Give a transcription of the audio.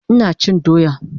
Ina chin doya